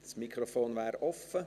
Das Mikrofon ist offen.